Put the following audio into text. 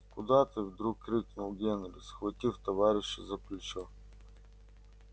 куда ты вдруг крикнул генри схватив товарища за плечо